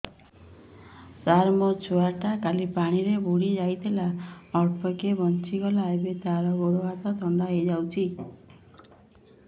ସାର ମୋ ଛୁଆ ଟା କାଲି ପାଣି ରେ ବୁଡି ଯାଇଥିଲା ଅଳ୍ପ କି ବଞ୍ଚି ଗଲା ଏବେ ତା ଗୋଡ଼ ହାତ ଥଣ୍ଡା ହେଇଯାଉଛି